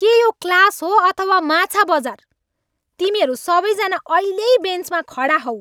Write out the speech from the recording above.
के यो क्लास हो अथवा माछा बजार? तिमीहरू सबैजना अहिल्यै बेन्चमा खडा होऊ!